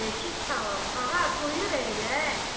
Əleyküsalam, ağa, buyur əyləş.